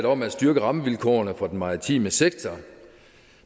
om at styrke rammevilkårene for den maritime sektor